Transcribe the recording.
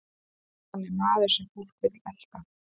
Hann er maður sem fólk vill elta.